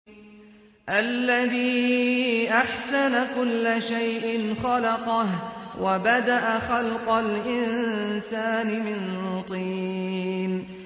الَّذِي أَحْسَنَ كُلَّ شَيْءٍ خَلَقَهُ ۖ وَبَدَأَ خَلْقَ الْإِنسَانِ مِن طِينٍ